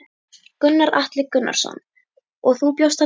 Gunnar Atli Gunnarsson: Og þú bjóst hann til?